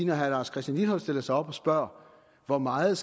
når herre lars christian lilleholt stiller sig op og spørger hvor meget